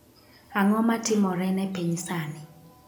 Ang'o matimore ne piny sani?